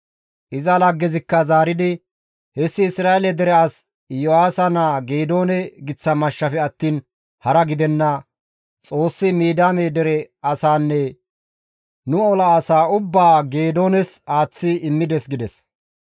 Iza laggezikka zaaridi, «Hessi Isra7eele dere as Iyo7aasa naa Geedoone giththa mashshafe attiin hara gidenna; Xoossi Midiyaame dere asaanne nu ola asaa ubbaa Geedoones aaththi immides» gides.